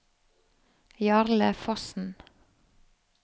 Jarle Fossen